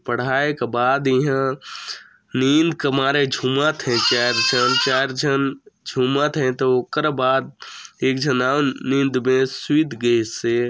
पढ़ाई के बाद इहाँ नींद के मारे झूमत हे चार झन चार झन झूमा थे त ओकर बाद एक झन अऊ नींद में सुइत गिसे--